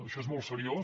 això és molt seriós